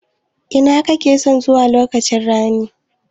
Ina kakeson zuwa lokaci ranin?